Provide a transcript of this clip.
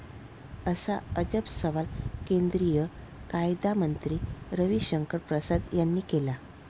असा अजब सवाल केंद्रीय कायदामंत्री रविशंकर प्रसाद यांनी केला.